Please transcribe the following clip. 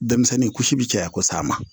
Denmisɛnnin kusi bi caya kosɛ a ma